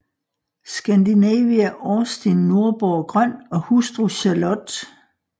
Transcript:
Skandinavia Austin Nordborg Grøn og hustru Charlott f